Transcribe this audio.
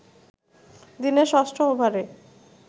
দিনের ষষ্ঠ ওভারে